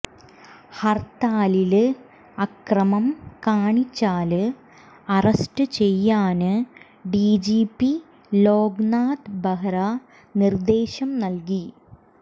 ഹര്ത്താലില് അക്രമം കാണിച്ചാല് അറസ്റ്റ് ചെയ്യാന് ഡിജിപി ലോക്നാഥ് ബഹ്ര നിര്ദ്ദേശം നല്കി